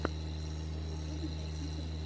на ютубе найти хомяка